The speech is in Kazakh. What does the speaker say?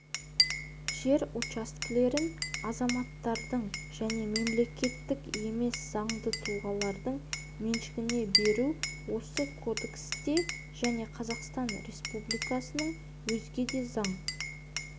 жер учаскелерін азаматтардың және мемлекеттік емес заңды тұлғалардың меншігіне беру осы кодексте және қазақстан республикасының өзге де заң